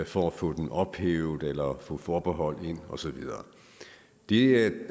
for at få dem ophævet eller få forbehold ind og så videre det